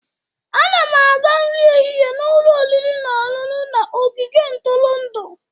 A na m aga nri ehihie n'ụlọ oriri na ọṅụṅụ na ogige ntụrụndụ.